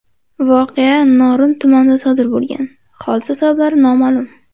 Voqea Norin tumanida sodir bo‘lgan, hodisa sabablari noma’lum.